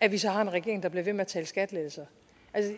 at vi så har en regering der bliver ved med at tale skattelettelser altså